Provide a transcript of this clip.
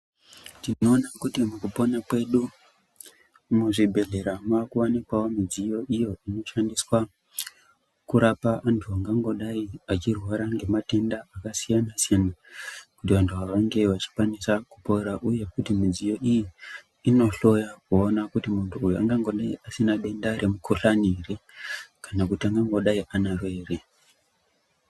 Tinoone kuti mukupone kwedu muzvibhedhlera mwakuwanikwawo midziyo iyo inoshandiswa kurapa antu angangodayi achirwara ngematenda akasiyana siyana kuti antu awa ange achikwanisa kupora uye kuti midziyo iyi inohloya kuona kuti mundu ungango dayi asina denda remukhuhlani here kana kuti angangodayi anaro here.